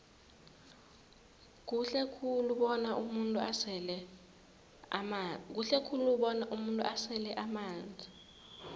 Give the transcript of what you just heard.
kuhle khulu bona umuntu asele amanzi